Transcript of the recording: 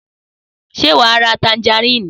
Sé wà á ra tanjarínì?